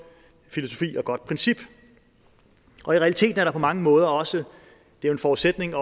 filosofi og et godt princip i realiteten er det på mange måder også en forudsætning